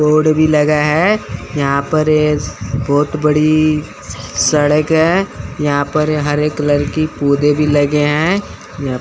road भी लगा है यहां पर ये बहुत बड़ी सड़क है यहां पर ये हरे कलर पौधे भी लगे हैं यहां --